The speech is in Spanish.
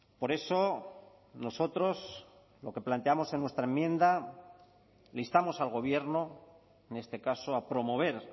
por eso nosotros lo que planteamos en nuestra enmienda le instamos al gobierno en este caso a promover